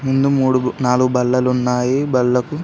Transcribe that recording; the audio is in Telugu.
ముందు మూడు నాలుగు బల్లలు ఉన్నాయి. బల్లకు --